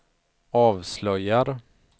avslöjar